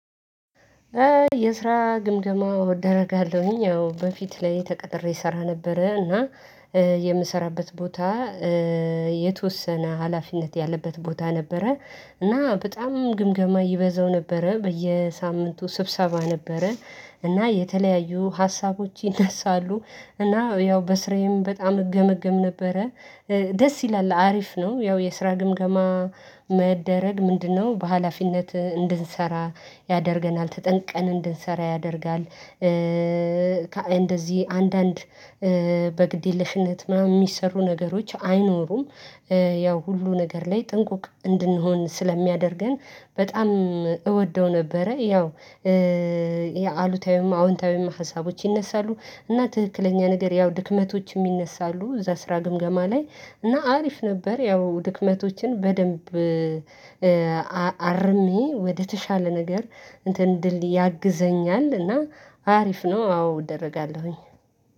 የስራ ግምገማ እደረጋለሁኝ ያው በፊት ላይ ተቀጥሬ እሰራ ነበረ። እና የምሰራበት ቦታ የተወሰነ ሀላፊነት ያለበት ቦታ ነበረ። እና በጣም ግምገማ ይበዛው ነበረ በየሳምንቱ ስብሰባ ነበረ። እና የተለያዩ ሀሳቦች ይነሳሉ እና ያው በስራዬም በጣም እገመገም ነበረ። ደስ ይላል አሪፍ ነው። ያው የስራ ግምገማ መደረግ ምንድነው? በሃላፊነት እንድንሰራ ያደርገናል ተጠንቀን እንድንሰራ ያደርጋል። እንደዚህ አንዳንድ በግድ የለሽነት ምናምን የሚሰሩ ነገሮች አይኖሩም። ያው ሁሉ ነገር ላይ ጥንቁቅ እንድንሆን ስለሚያደርገን በጣም እወደው ነበረ። ያው የአሉታዊም አዎንታዊም ሀሳቦች ይነሳሉ እና ትክክለኛ ነገር ያው ድክመቶችም ይነሳሉ እዛ ስራ ግምገማ ላይ እና አሪፍ ነበር። ያው ድክመቶችን በደንብ አርሜ ወደተሻለ ነገር እንትን ድል ያግዘኛል እና አሪፍ ነው። አዎ እደረጋለሁኝ።